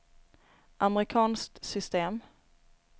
amerikanskt system